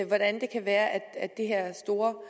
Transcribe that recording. hvordan det kan være at det her store